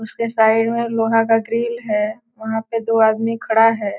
उसके साइड में लोहा का ग्रील है वहाँ पे दो आदमी खड़ा है।